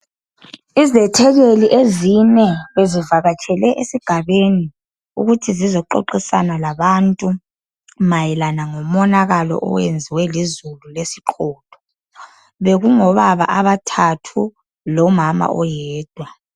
Izethekeli ezine ,bezivakatshele esigabeni. ukuthi zizoxoxisana labantu mayelana lomonakalo oyenziwe lizulu lesiqotho. Bekungobaba abathathu lomama oyedwa.